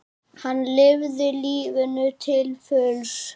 Hann lifði lífinu til fulls.